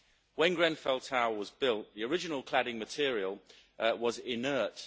When Grenfell Tower was built, the original cladding material was inert.